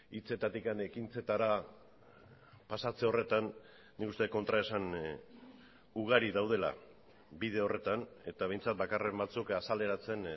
hitzetatik ekintzetara pasatze horretan nik uste kontraesan ugari daudela bide horretan eta behintzat bakarren batzuk azaleratzen